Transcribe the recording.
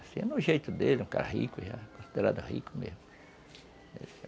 Assim, é no jeito dele, é um cara rico já, considerado rico mesmo.